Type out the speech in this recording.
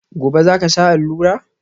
Gobe ​​zaka sha allura?